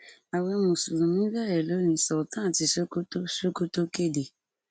ààwẹ mùsùlùmí bẹrẹ lónìí sultan tí sokoto sokoto kéde